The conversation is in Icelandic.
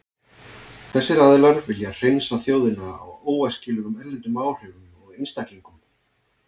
Þessir aðilar vilja hreinsa þjóðina af óæskilegum erlendum áhrifum og einstaklingum.